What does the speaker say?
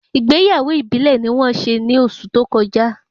Ìgbéyàwó ìbílè ni wón se ni oṣù tó kọjá